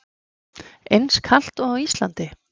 Eins kalt og á Íslandi?